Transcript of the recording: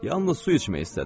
Yalnız su içmək istədi.